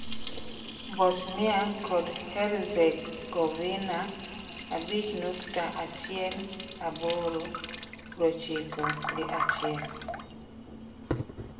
Bosnia kod Herzegovina (abich nukta achiel aboro) prochiko gi achiel.